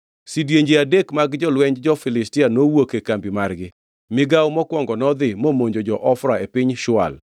Sidienje adek mag jolwenj jo-Filistia nowuok e kambi margi, migawo mokwongo nodhi momonjo jo-Ofra e piny Shual,